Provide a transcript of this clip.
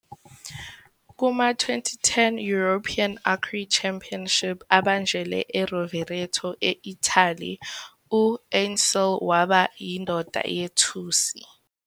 Kuma- 2010 European Archery Championship abanjelwe eRovereto, e-Italy, u-Ünsal waba yindondo yethusi.